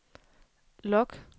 log